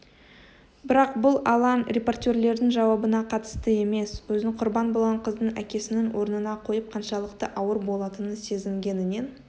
бірақ бұл алаң репортерлердің жауабына қатысты емес өзін құрбан болған қыздың әкесінің орнына қойып қаншалықты ауыр болатынын сезінгенінен